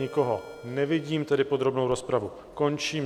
Nikoho nevidím, tedy podrobnou rozpravu končím.